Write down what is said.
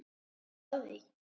Ertu að því?